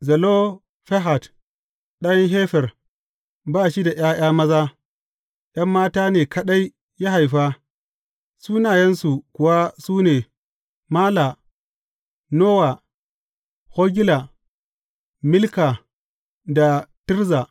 Zelofehad ɗan Hefer, ba shi da ’ya’ya maza; ’yan mata ne kaɗai ya haifa, sunayensu kuwa su ne Mala, Nowa, Hogla, Milka da Tirza.